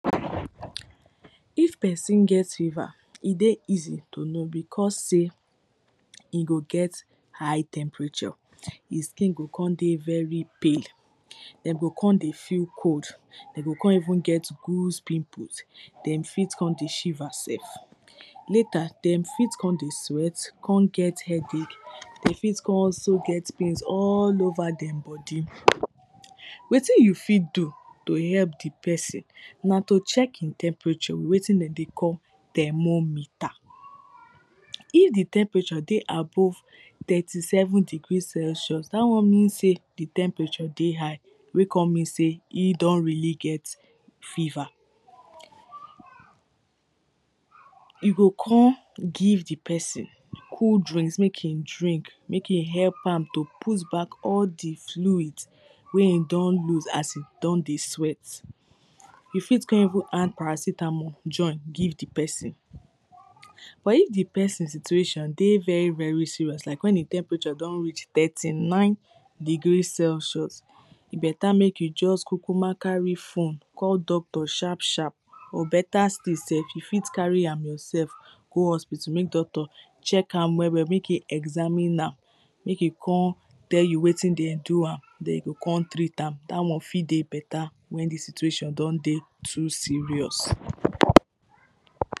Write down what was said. If person get fever, e dey easy to know becos sey e go get high temperature, e skin go come dey very pale dem go come dey feel cold, dem go come even get goose pimples dem fit come dey shiver sef. Later dem fit come dey sweat, come get headache Dem fit still come even get pains all over di body wetin you fit to help di person, na to check di temperature with wetin dem dey call thermometer. If di temperature dey above thirty seven degree celsius, dat one means sey di temperature dey high wey come means sey e don really get fever You come give di person cold drink make im drink make e help am to put back all di fluid wey e don loose as e don dey sweat. You fit come even add paracetamol join give di person But if di person situation dey very very serious like wen di temperature don reach thirty nine degree celsius, e better make you just kukuma carry phone call doctor sharp sharp or better still sef, you fit carry am yourself go hospital make doctor check am well well make e examine am, make e come tell you wetin dey do am, then e go come treat am, dat one fit dey better wen di stiuation don dey too serious